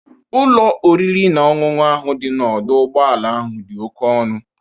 Ụlọ oriri na ọṅụṅụ ahụ dị n'ọdọ ụgbọala ahụ dị oke ọnụ.